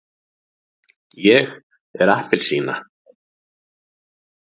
ég er appelsína.